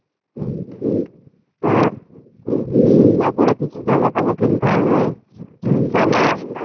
হম হম আহ বাবুর ও কিছু জামাকাপড় কিনতে হবে, হম জামা